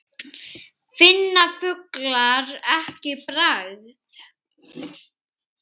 Finna fuglar ekki bragð?